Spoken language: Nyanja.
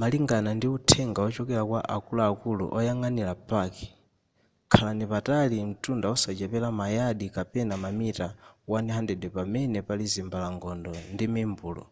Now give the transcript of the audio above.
malingana ndi uthenga wochokera kwa akuluakulu oyang'anira paki khalani patali mtunda osachepera ma yadi kapena mamita 100 pamene pali zimbalangondo ndi mimbulu